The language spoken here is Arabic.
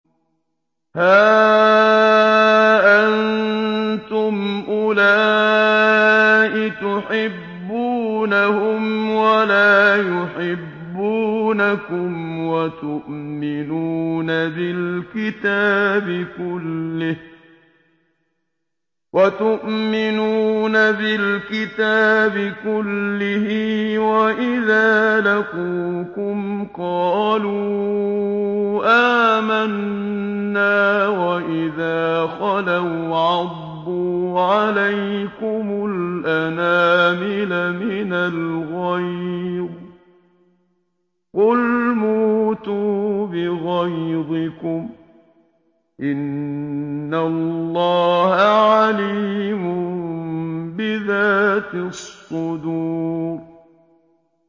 هَا أَنتُمْ أُولَاءِ تُحِبُّونَهُمْ وَلَا يُحِبُّونَكُمْ وَتُؤْمِنُونَ بِالْكِتَابِ كُلِّهِ وَإِذَا لَقُوكُمْ قَالُوا آمَنَّا وَإِذَا خَلَوْا عَضُّوا عَلَيْكُمُ الْأَنَامِلَ مِنَ الْغَيْظِ ۚ قُلْ مُوتُوا بِغَيْظِكُمْ ۗ إِنَّ اللَّهَ عَلِيمٌ بِذَاتِ الصُّدُورِ